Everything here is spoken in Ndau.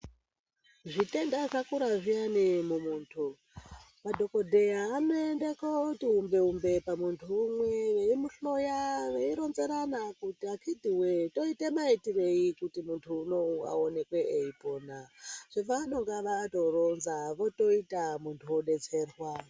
Zvitenda zvakura zviyani mumuntu, madhokodheya anoende kooti umbe-umbe pamuntu umwe, veimuhloya ,veironzerana kuti "Akhitiwee toita maitirei kuti muntu unowu aoneke eipona".Zvavanonga vatoronza votoita muntu odetserwa.